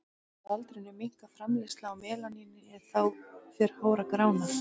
Með aldrinum minnkar framleiðsla á melaníni en þá fer hár að grána.